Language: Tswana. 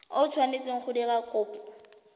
o tshwanetseng go dira kopo